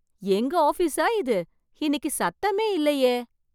எங்க ஆபீஸா இது? இன்னைக்கு சத்தமே இல்லையே!